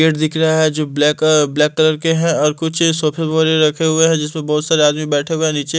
Gate दिख रहा है जो ब्लैक- ब्लैक कलर के हैं और कुछ सोफे रखे हुए हैं जिसमें बहुत सारे आदमी बैठे हुए हैं नीचे।